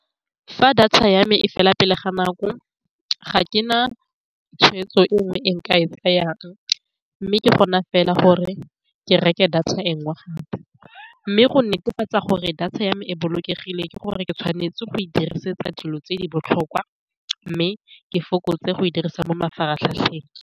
Fa data ya me e fela pele ga nako, ga ke na tshwetso e nngwe e nka e tsayang, mme ke gone fela gore ke reke data e nngwe gape, mme go netefatsa gore data ya me e bolokegile. Ke gore ke tshwanetse go e dirisetsa dilo tse di botlhokwa, mme ke fokotse go e dirisa mo mafaratlhatlheng.